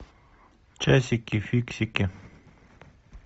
часики фиксики